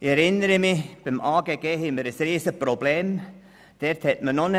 Ich erinnere mich, dass wir beim Amt für Grundstücke und Gebäude (AGG) ein riesiges Problem hatten.